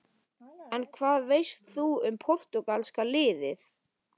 En hvað veist þú um Portúgalska-liðið?